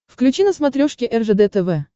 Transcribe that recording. включи на смотрешке ржд тв